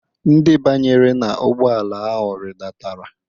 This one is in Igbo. Ndị banyere n'ụgbọala ahụ ridatara.